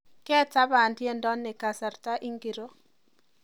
Ketaban tiendo ni kasarta ingiro